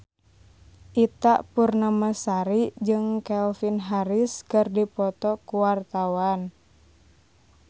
Ita Purnamasari jeung Calvin Harris keur dipoto ku wartawan